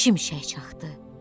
Şimşək çaxdı.